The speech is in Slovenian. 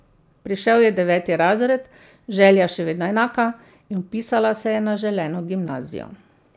Prišel je deveti razred, želja še vedno enaka, in vpisala se je na želeno gimnazijo.